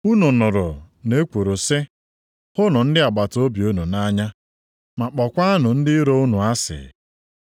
“Unu nụrụ na e kwuru sị, ‘Hụnụ ndị agbataobi unu nʼanya, ma kpọkwanụ ndị iro unu asị.’ + 5:43 \+xt Lev 19:18\+xt*